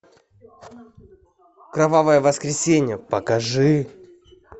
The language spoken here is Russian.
кровавое воскресенье покажи